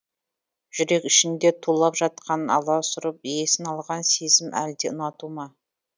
жүрек ішінде тулап жатқан аласұрып есін алған сезім әлде ұнату ма